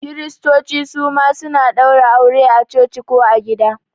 Kiristoci suma suna ɗaura aure a coci ko gida